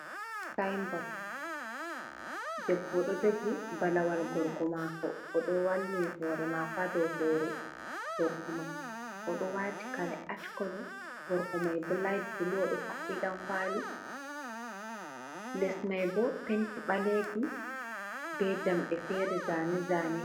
Sinbot debbo ɗo jogi balawal gorgo mako o ɗo wallini hore mako hado hore gorgo mai. O ɗo wati kare ash kolo gorko mai bo lait bul o ɗo haɓɓi dankwali les mai bo penti ɓalejum be jamɗe fere zane zane.